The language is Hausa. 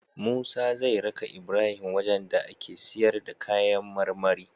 Musa zai raka Ibrahim wajan da ake siyar da kayan marmari